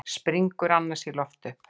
Springur annars í loft upp.